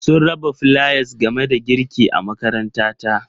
Sun raba flayas game da girki a makarantata.